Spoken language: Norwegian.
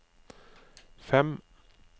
fem